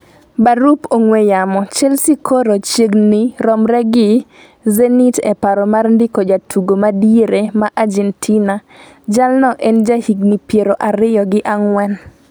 (barup ong'we yamo)chelsea koro chiegni romre gi zenit e paro mar ndiko jatugo madiere ma Ajentina. Jalno en jahigni piero ariyo gi ang'wen